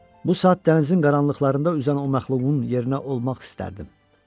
Bu saat dənizin qaranlıqlarında üzən o məxluqun yerinə olmaq istərdim.